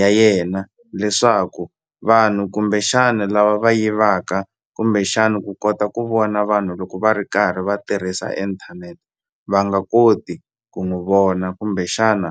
ya yena leswaku vanhu kumbexani lava va yivaka kumbexani ku kota ku vona vanhu loko va ri karhi va tirhisa inthanete va nga koti ku n'wi vona kumbexana.